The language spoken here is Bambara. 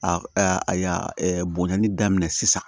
Bonɲali daminɛ sisan